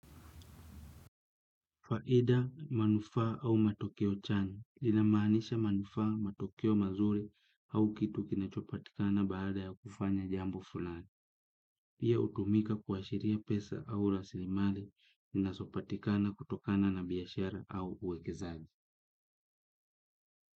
Faida, manufa au matokeo chanya, lina maanisha manufaa, matokeo mazuri au kitu kinachopatikana baada ya kufanya jambo fulani. Hiyo hutumika kuashiria pesa au rasilimali zinazopatikana kutokana na biashara au uwekezaji.